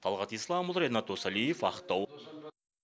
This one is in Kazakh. талғат исламұлы ренат досалиев ақтау